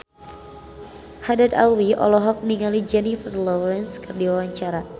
Haddad Alwi olohok ningali Jennifer Lawrence keur diwawancara